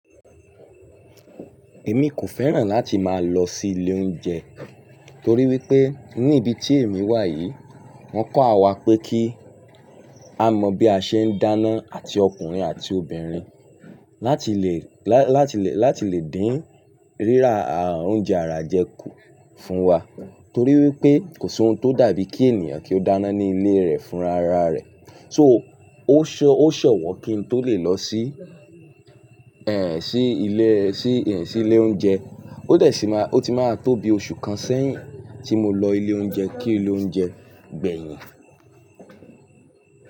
Èmi kò fẹ́ràn láti máa lọ sí ilé oúnjẹ torí wípé ní ibi tí èmi wà yìí wọ́n kọ́ àwa pé kí á mọ bí a ṣe ń dáná àti ọkùnrin àti obìnrin láti lè, lá-láti lè, láti lè dín rírà oúnjẹ àrà jẹ kú fún wa torí wípé kò sí ohun tó dàbí kí ènìyàn kí ó dáná ní ilé rẹ̀ fún ra ra rẹ̀. So ó ṣọ, ó ṣọ̀wọ́ kí n tó lè lọ sí ẹ̀, sí ilé, sí ẹ̀, sí ilé oúnjẹ. Ó dẹ̀ sì máa, ó ti máa tó bi oṣù kan sẹ́yìn tí mo lọ ilé oúnjẹ kí ilé oúnjẹ gbẹ̀yìn.